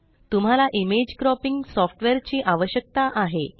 तुम्हाला image cropping software ची आवश्यकता आहे